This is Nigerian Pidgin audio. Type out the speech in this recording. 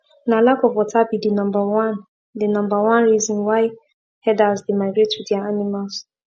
na lack of water be the number one the number one reason why herders dey migrate with their animals